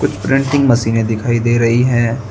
Printing मशीनें दिखाई दे रही है।